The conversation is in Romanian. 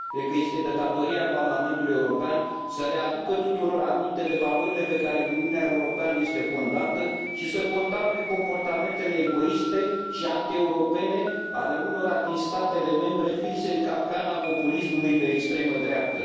Cred că este de datoria Parlamentului European să reamintească tuturor valorile pe care Uniunea Europeană este fondată și să condamne comportamentele egoiste și antieuropene ale unora din statele membre, prinse în capcana populismului de extremă dreaptă.